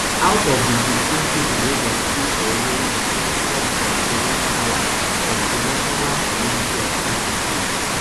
out of di sixteen pipo wey dem kill for uromi six come from toronkawa from toronkawa community for kano state